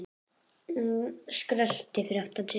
Hún heyrði skröltið fyrir aftan sig.